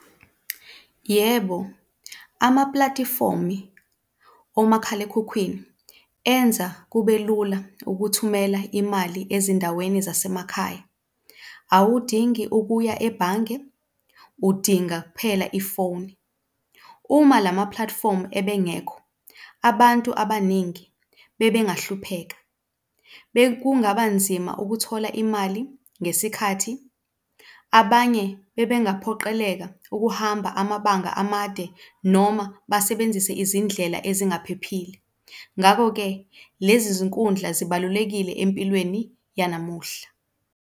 Yebo, amaplatifomi omakhalekhukhwini enza kube lula ukuthumela imali ezindaweni zasemakhaya. Awudingi ukuya ebhange, udinga kuphela ifoni. Uma lama-platform ebengekho, abantu abaningi bebengahlupheka. Bekungaba nzima ukuthola imali ngesikhathi. Abanye bebengaphoqeleka ukuhamba amabanga amade noma basebenzise izindlela ezingaphephile. Ngako-ke, lezi zinkundla zibalulekile empilweni yanamuhla.